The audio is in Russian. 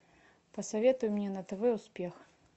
посоветуй мне на тв успех